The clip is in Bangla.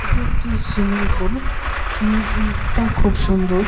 এটি একটি সুইমিং পুল । সুইমিং পুলটা খুব সুন্দর ।